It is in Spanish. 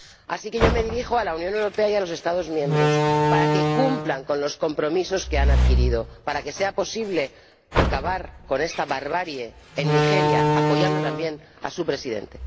Así que yo me dirijo a la Unión Europea y a los Estados miembros para que cumplan con los compromisos que han adquirido para que sea posible acabar con esta barbarie en Nigeria, apoyando también a su presidente.